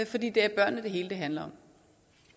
fordi det er børnene det hele handler